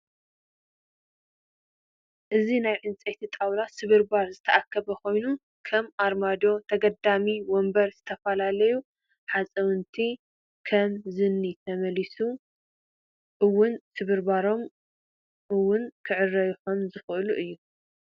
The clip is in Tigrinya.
እዚናይ ዕንጨይቲ ጣውላ ስብርባር ዝተኣከበ ኮይኑ ከም ኣርማዶ፣ ተገዳሚ ወንበር ዝተፈላለዩ ሓፃውንቲ ከም ዝንሂ ተመሊሱ እውን እቶስብርባር መእውን ክዕረዩ ከም ዝክእሉ እዩ።